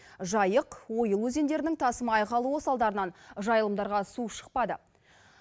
жайық ойыл өзендерінің тасымай қалуы салдарынан жайылымдарға су шықпады